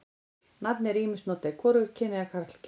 Nafnið er ýmist notað í hvorugkyni eða karlkyni.